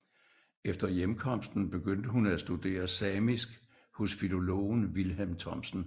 Efter hjemkomsten begyndte hun at studere samisk hos filologen Vilhelm Thomsen